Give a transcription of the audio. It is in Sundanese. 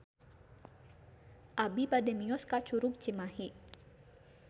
Abi bade mios ka Curug Cimahi